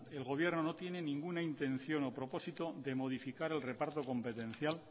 el gobierno no tiene ninguna intención o propósito de modificar el reparto competencial